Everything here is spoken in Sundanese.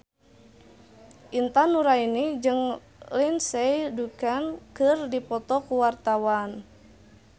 Intan Nuraini jeung Lindsay Ducan keur dipoto ku wartawan